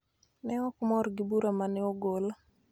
ne ok mor gi bura ma ne ogol,